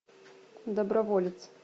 доброволец